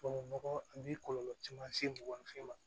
Tubabu nɔgɔ a bi kɔlɔlɔ caman se mɔgɔ fɛn ma